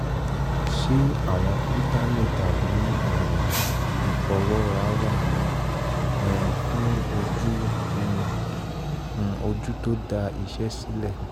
ṣé àwọn fítámì tàbí um ìfọwọ́ra wà um fún ojú um tó da iṣẹ́ sílẹ̀?